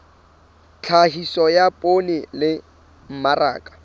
tlhahiso ya poone le mmaraka